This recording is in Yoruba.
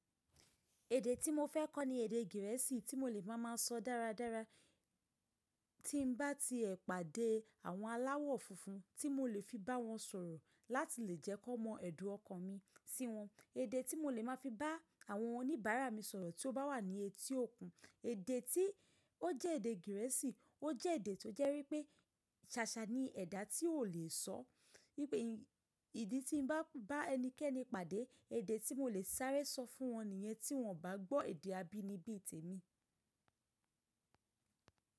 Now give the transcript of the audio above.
Èdè tí mo fẹ́ kọ́ ni èdè Gẹ̀rẹ́sì tí mo lè má a má sọ dáradára tí ń bá ti ẹ pàdé àwọn aláwọ̀ funfun tí mo lè fi bá wọn sọ̀rọ̀ láti lè jẹ́ kó mọ èdùn ọkàn mi sí wọn. Èdè tí mo lè má fi bá àwọn oníbàárà mi sọ̀rọ̀ tí ó bá wà ní etí òkun. Èdè tí ó jẹ́ èdè Gẹ̀rẹ́sì, ó jẹ́ èdè tó jẹ́ wípé ṣàṣà ni ẹ̀dà tí ò lè sọ. Wípé ìdí tí ń bá bá ẹnikẹ́ni pàdé, èdè tí mo lè sáré sọ fún wọn nìyẹn tí wọn ò bá gbọ́ èdè abínibí tèmi.